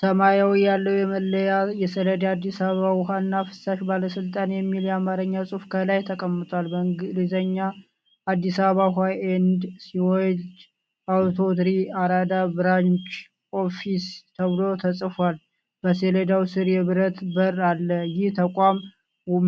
ሰማያዊ ያለው የመለያ ሰሌዳ አዲስ አበባ ውሀና ፍሳሽ ባለስልጣን የሚል የአማርኛ ጽሑፍ ከላይ ተቀምጧል። በእንግሊዘኛም አዲስ አበባ ውሀ ኤንድ ሲወሬጅ አውቶሪቲ አራዳ ብራንች ኦፊስ ተብሎ ተጽፏል። በሰሌዳው ስር የብረት በር አለ። ይህ ተቋም